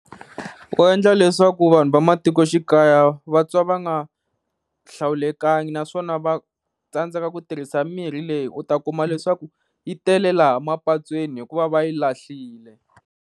Ku endla leswaku vanhu va matikoxikaya vatwa va nga hlawulekangi, naswona va tsandzeka ku tirhisa mirhi leyi u ta kuma leswaku yi tele laha mapatweni hikuva va yi lahlile.